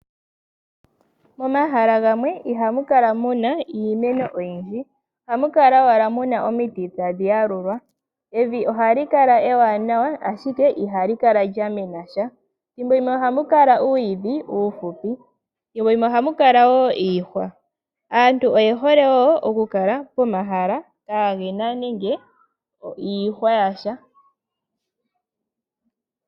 Momahala gamwe ihamu kala muna iimeno oyindji. Ohamu kala owala muna omiti tadhi yalulwa. Evi ohali kala ewanawa ashike ihali kala lyamena tya. Thimbo limwe ohamu kala uuyidhi uuhupi, thimbo limwe ohamu kala wo iihwa. Aantu oye hole wo okukala pomahala kagena nenge iihwa yasha.